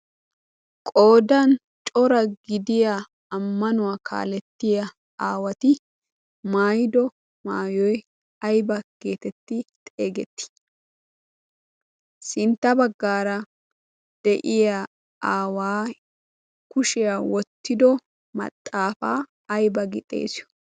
Qoodan cora gidiya ammanuwaa kaalettiya aawati maayido maayoi ayba geetetti xeegetti? sintta baggaara de'iya aawaa kushiyaa wottido maxaafaa ayba gi xeesii?